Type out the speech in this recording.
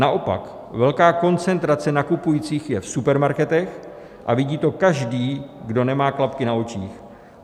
Naopak velká koncentrace nakupujících je v supermarketech a vidí to každý, kdo nemá klapky na očích.